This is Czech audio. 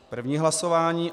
První hlasování.